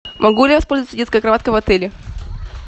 могу ли я воспользоваться детской кроваткой в отеле